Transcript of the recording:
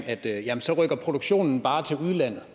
at så rykker produktionen bare til udlandet